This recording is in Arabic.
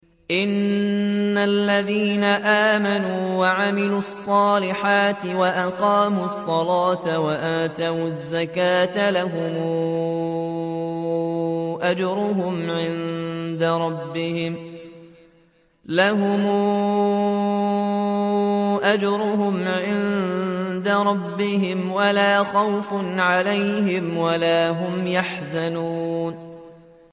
إِنَّ الَّذِينَ آمَنُوا وَعَمِلُوا الصَّالِحَاتِ وَأَقَامُوا الصَّلَاةَ وَآتَوُا الزَّكَاةَ لَهُمْ أَجْرُهُمْ عِندَ رَبِّهِمْ وَلَا خَوْفٌ عَلَيْهِمْ وَلَا هُمْ يَحْزَنُونَ